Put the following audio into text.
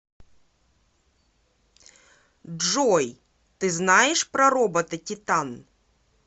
джой ты знаешь про робота титан